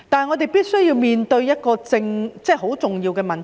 我們必須面對一個十分重要的問題。